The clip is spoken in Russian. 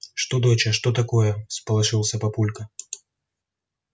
что доча что такое всполошился папулька